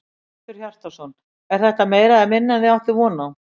Hjörtur Hjartarson: Er þetta meira eða minna en þið áttuð von á?